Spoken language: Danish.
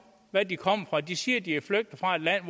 hvad de kommer fra de siger de er flygtet fra et land